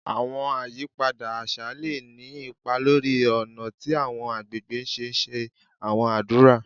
Àwọn àyípadà àṣà lè ní ipa lórí ọ̀nà tí àwọn àgbègbè ṣe ńṣe àwọn ádùrá